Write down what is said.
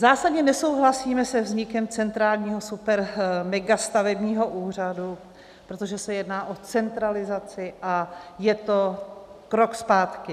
Zásadně nesouhlasíme se vznikem centrálního supermegastavebního úřadu, protože se jedná o centralizaci a je to krok zpátky.